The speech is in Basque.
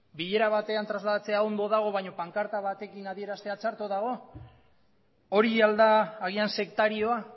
bilera batean trasladatzea ondo dago baina pankarta batekin adieraztea txarto dago hori al da agian sektarioa